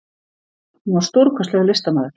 Hún var stórkostlegur listamaður.